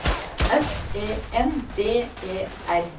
S E N D E R